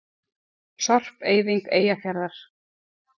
Sorpeyðing Eyjafjarðar.